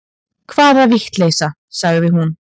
Hvaða vitleysa, sagði hún.